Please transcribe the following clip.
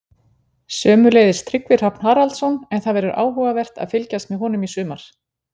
Sömuleiðis Tryggvi Hrafn Haraldsson, en það verður áhugavert að fylgjast með honum í sumar.